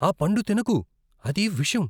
ఆ పండు తినకు. అది విషం.